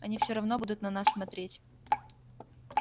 они все равно будут на нас смотреть